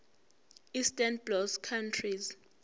eastern bloc countries